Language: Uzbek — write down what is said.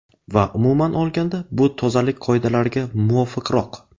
Va umuman olganda bu tozalik qoidalariga muvofiqroq.